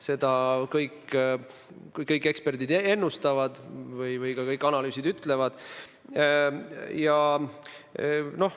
Seda ennustavad kõik eksperdid ja ütlevad kõik analüüsid.